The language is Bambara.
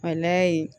A layɛ